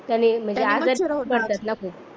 मच्छर होतात मग